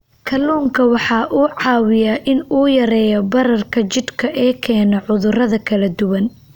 Kalluunku waxa uu caawiyaa in uu yareeyo bararka jidhka ee keena cudurro kala duwan.